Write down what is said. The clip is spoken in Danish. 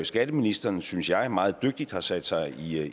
skatteministeren synes jeg meget dygtigt har sat sig